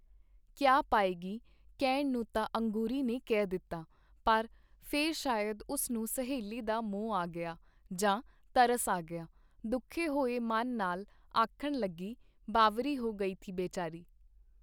ਕੀਆ ਪਾਏਗੀ”, ਕਹਿਣ ਨੂੰ ਤਾਂ ਅੰਗੂਰੀ ਨੇ ਕਹਿ ਦਿੱਤਾ, ਪਰ ਫੇਰ ਸ਼ਾਇਦ ਉਸ ਨੂੰ ਸਹੇਲੀ ਦਾ ਮੋਹ ਆ ਗਿਆ ਜਾਂ ਤਰਸ ਆ ਗਿਆ, ਦੁਖੇ ਹੋਏ ਮਨ ਨਾਲ ਆਖਣ ਲੱਗੀ, ਬਾਵਰੀ ਹੋ ਗਈ ਥੀ ਬੇਚਾਰੀ.